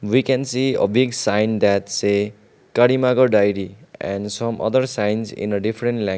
we can see a big sign that say karimnagar dairy and some other signs in a different lang --